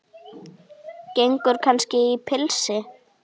Gengur kannski í pilsi?